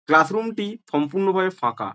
Class room -টি সম্পূর্ণ ভাবে ফাঁকা।